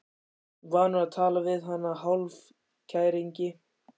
Vanur að tala við hana í hálfkæringi.